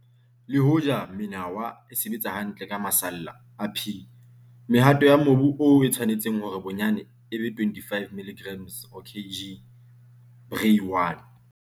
Le hoja menawa e sebetsa hantle ka masalla a P, mehato ya mobu oo e tshwanetse hore bonyane e be 25 mg per kg, Bray 1.